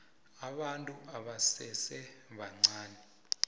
abantu abasese bancani